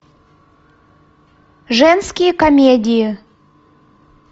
женские комедии